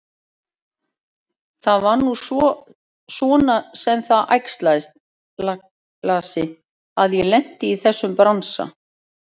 Það var nú svona sem það æxlaðist, lagsi, að ég lenti í þessum bransa.